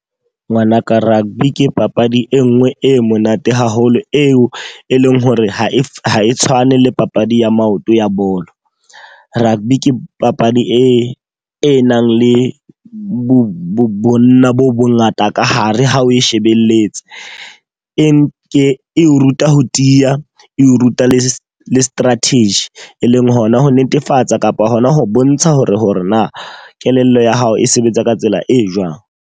Ngwanaka, rugby ke papadi e nngwe e monate haholo, eo e leng hore ha e ha e tshwane le papadi ya maoto ya bolo. Rugby ke papadi e e nang le bo bonna bo ngata ka hare ha o e shebelletse. E o ruta ho tiya, e o ruta le strategy, e leng hona ho netefatsa kapa hona ho bontsha hore hore na kelello ya hao e sebetsa ka tsela e jwang.